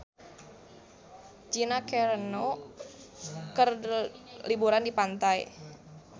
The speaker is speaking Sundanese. Gina Carano keur liburan di pantai